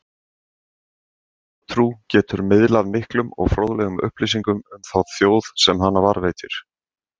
Þjóðtrú getur miðlað miklum og fróðlegum upplýsingum um þá þjóð sem hana varðveitir.